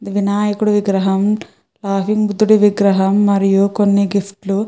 ఇది వినాయకుని విగ్రహం బుద్దుడి విగ్రహం మరియు కొన్ని గిఫ్ట్స్